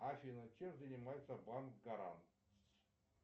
афина чем занимается банк гарант